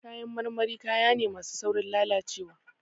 Kayan marmari, kaya ne masu saurin lalacewa.